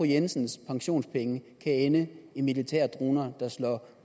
jensens pensionspenge kan ende i militære droner der slår